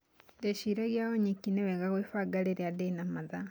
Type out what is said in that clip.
Ndeciragia oo nyiki ni wega kwĩbanga rĩrĩa ndĩna mathaa